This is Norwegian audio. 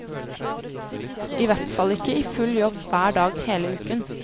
I hvert fall ikke i full jobb hver dag hele uken.